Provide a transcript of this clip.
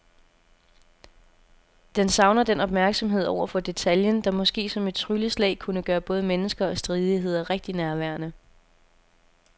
Den savner den opmærksomhed over for detaljen, der måske som et trylleslag kunne gøre både mennesker og stridigheder rigtig nærværende.